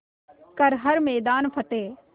कर हर मैदान फ़तेह